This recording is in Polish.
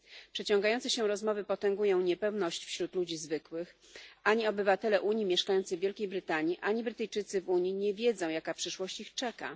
Przeciągające się rozmowy potęgują niepewność wśród ludzi zwykłych, ani obywatele Unii mieszkający w Wielkiej Brytanii, ani Brytyjczycy w Unii nie wiedzą jaka przyszłość ich czeka.